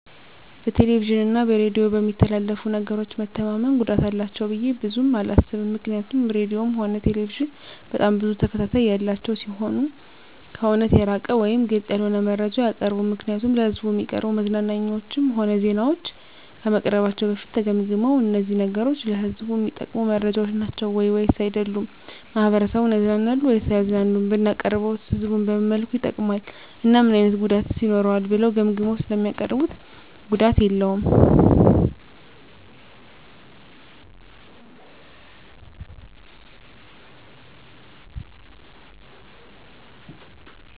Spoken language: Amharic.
በቴሌቪዥን እና በሬዲዮ በሚተላለፉ ነገሮች መተማመን ጉዳት አላቸው ብዬ ብዙም አላስብም ምክንያቱም ራድዮም ሆነ ቴሌቪዥን በጣም ብዙ ተከታታይ ያላቸው ሲሆኑ ከእውነት የራቀ ወይም ግልፅ ያልሆነ መረጃ አያቀርቡም ምክንያቱም ለሕዝብ እሚቀርቡ መዝናኛዎችም ሆነ ዜናዎች ከመቅረባቸው በፊት ተገምግመው እነዚህ ነገሮች ለህዝቡ እሚጠቅሙ መረጃዎች ናቸው ወይስ አይደሉም፣ ማህበረሰቡን ያዝናናሉ ወይስ አያዝናኑም፣ ብናቀርበውስ ህዝቡን በምን መልኩ ይጠቅማል እና ምን አይነት ጉዳትስ ይኖረዋል ብለው ገምግመው ስለሚያቀርቡት ጉዳት የለውም።